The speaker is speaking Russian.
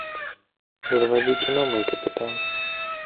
заводи кино мой капитан